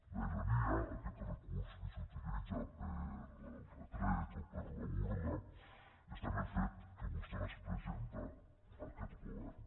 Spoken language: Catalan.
la ironia aquest recurs que s’utilitza per al retret o per a la burla està en el fet que vostè les presenta a aquest govern